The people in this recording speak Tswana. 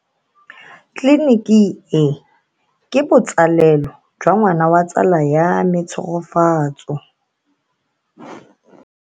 Tleliniki e, ke botsalelo jwa ngwana wa tsala ya me Tshegofatso.